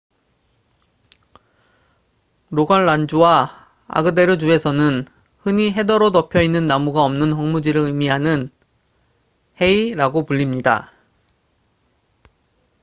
"로갈란주와 아그데르주에서는 흔히 헤더로 덮여 있는 나무가 없는 황무지를 의미하는 "hei""라고 불립니다.